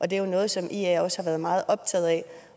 det er noget som ia også har været meget optaget af